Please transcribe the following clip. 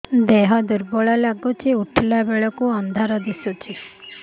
ଦେହ ଦୁର୍ବଳ ଲାଗୁଛି ଉଠିଲା ବେଳକୁ ଅନ୍ଧାର ଦିଶୁଚି